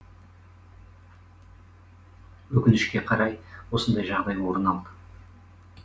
өкінішке қарай осындай жағдай орын алды